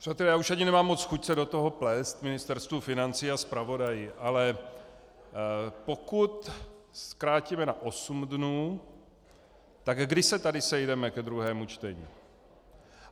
Přátelé, já už ani nemám moc chuť se do toho plést Ministerstvu financí a zpravodaji, ale pokud zkrátíme na osm dnů, tak kdy se tady sejdeme ke druhému čtení?